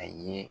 A ye